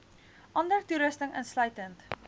ander toerusting insluitend